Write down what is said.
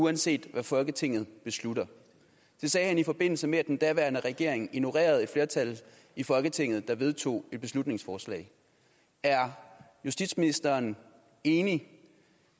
uanset hvad folketinget beslutter det sagde han i forbindelse med at den daværende regering ignorerede et flertal i folketinget der vedtog et beslutningsforslag er justitsministeren enig